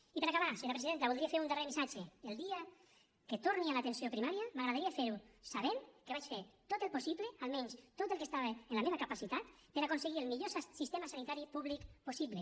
i per a acabar senyora presidenta voldria fer un darrer missatge el dia que torni a l’atenció primària m’agradaria fer ho sabent que vaig fer tot el possible almenys tot el que estava en la meva capacitat per a aconseguir el millor sistema sanitari públic possible